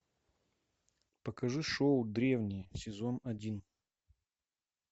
покажи шоу древние сезон один